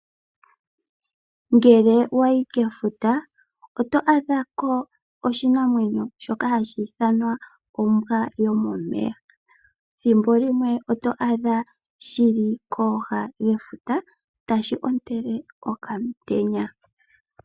Ngele owa yi kefuta oto adha ko oshinamwenyo shoka hashi ithanwa ombwa yomomeya, ethimbo limwe oto shi a dha shili kooha dhefuta tashi ontele okamutenya.